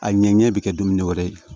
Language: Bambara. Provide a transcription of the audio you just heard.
A ɲɛ ɲɛ bɛ kɛ dumuni wɛrɛ ye